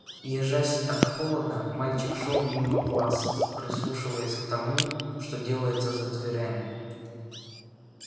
ёжась от холода мальчик шёл мимо классов прислушиваясь к тому что делается за дверями